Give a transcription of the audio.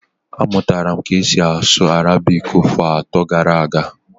Amụtara m ka esi asụ Arabiki afọ atọ gara aga